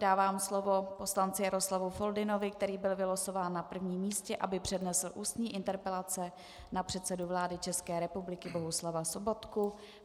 Dávám slovo poslanci Jaroslavu Foldynovi, který byl vylosován na prvním místě, aby přednesl ústní interpelaci na předsedu vlády České republiky Bohuslava Sobotku.